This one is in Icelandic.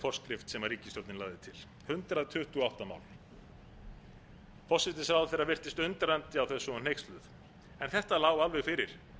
forskrift sem ríkisstjórnin lagði til hundrað tuttugu og átta mál forsætisráðherra virtist undrandi á þessu og hneyksluð en þetta lá alveg fyrir